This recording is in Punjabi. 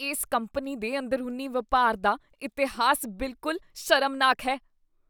ਇਸ ਕੰਪਨੀ ਦੇ ਅੰਦਰੂਨੀ ਵਪਾਰ ਦਾ ਇਤਿਹਾਸ ਬਿਲਕੁਲ ਸ਼ਰਮਨਾਕ ਹੈ।